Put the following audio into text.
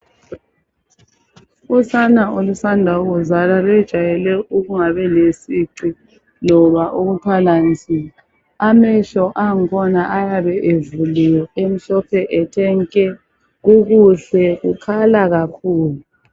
Usana olusanda kuzalwa luyejwayele ukungabi lesici loba ukuthwala nzima amehlo angkhona ayabe evuliwe emhlophe ethe nke kukuhle kukhala kakhulu .